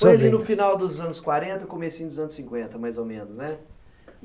Foi ali no final dos anos quarenta, comecinho dos anos cinquenta, mais ou menos, né?